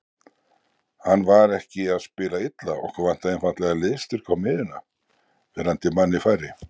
Hann var ekki að spila illa, okkur vantaði einfaldlega liðsstyrk á miðjuna, verandi manni færri.